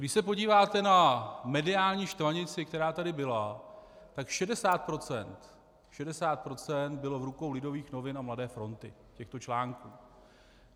Když se podíváte na mediální štvanici, která tady byla, tak 60 % bylo v rukou Lidových novin a Mladé fronty, těchto článků.